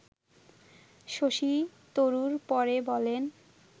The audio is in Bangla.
শশী তরুর পরে বলেন